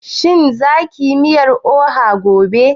Shin za kiyi miyar oha gobe?